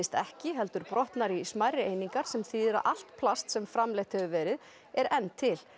ekki heldur brotnar í einingar sem þýðir að allt plast sem framleitt hefur verið er enn til